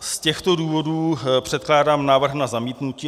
Z těchto důvodů předkládám návrh na zamítnutí.